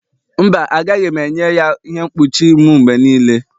mba, agaghị m enye ya ihe mkpuchi m mgbe niile